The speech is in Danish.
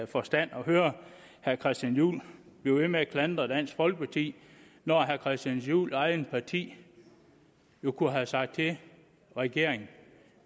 forstand at høre herre christian juhl blive ved med at klandre dansk folkeparti når herre christian juhls eget parti kunne have sagt til regeringen